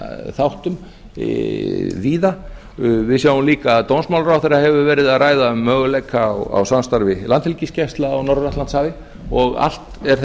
þáttum víða við sjáum líka að dómsmálaráðherra hefur verið að ræða möguleika á samstarfi landhelgisgæslu á norður atlantshafi og allt er